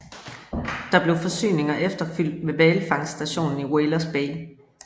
Der blev forsyninger efterfylt ved hvalfangststationen i Whalers Bay